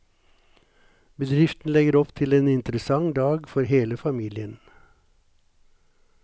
Bedriften legger opp til en interessant dag for hele familien.